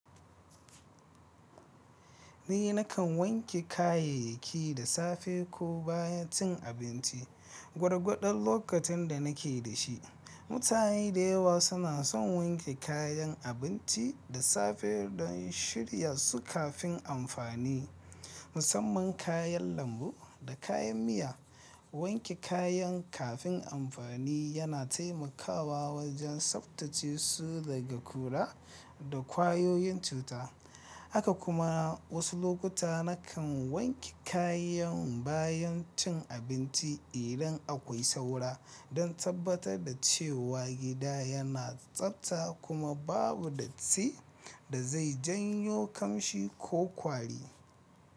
Ni nakan wanke kayayyaki da safe ko bayan cin abinci gwargwadon lokacin da nake da shi. Mutane da yawa suna son wanke kayan abinci da safe don shirya su kafin amfani, musamman kayan lambu da kayan miya. Wanke kayan kafin amfani yana taimakawa wajen tsaftace su daga ƙura da ƙwayoyin cuta. Haka kuma wasu lokuta nakan wanke kayan bayan cin abinci idan akwai saura don tabbatar da cewa gida yana tsafta kuma babu datti da zai janyo ƙamshi ko ƙwari.